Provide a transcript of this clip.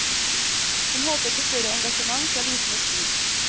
Hun håper på større engasjement fra liten og stor.